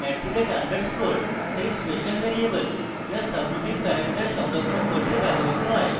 at the rate underscore সেই special variable যা subroutine parameter সংরক্ষণ করতে ব্যবহৃত হয়